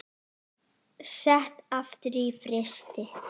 Sett aftur í frysti.